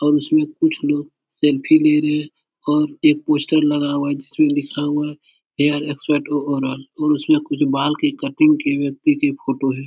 और उसमे कुछ लोग सेल्फी ले रहे हैं और एक पोस्टर लगा हुआ है। जिसमें लिखा हुआ है हेयर एक्सपर्ट टू आर्डर और उसमें कुछ बाल के कटिंग किये व्यक्ति के फ़ोटो हैं।